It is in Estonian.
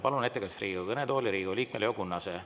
Palun ettekandjaks Riigikogu kõnetooli Riigikogu liikme Leo Kunnase.